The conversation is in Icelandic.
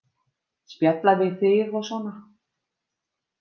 Spjalla við þig og svona.